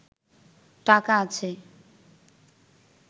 টাকা আছে